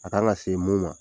A kan ka se mun ma